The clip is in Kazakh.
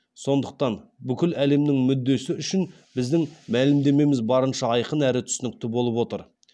сондықтан бүкіл әлемнің мүддесі үшін біздің мәлімдемеміз барынша айқын әрі түсінікті болып отыр